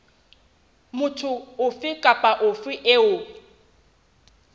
motho ofe kapa ofe eo